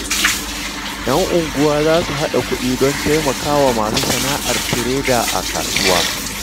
‘Yan unguwa za su haɗa kuɗi don taimaka wa masu sana’ar tireda a kasuwa.